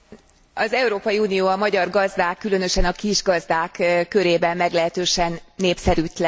Az Európai Unió a magyar gazdák különösen a kisgazdák körében meglehetősen népszerűtlen.